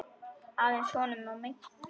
Aðeins honum og engum öðrum.